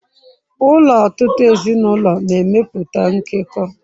Ụlọ ọtụtụ ezinụlọ na-emepụta nkekọ.